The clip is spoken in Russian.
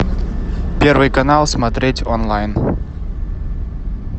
первый канал смотреть онлайн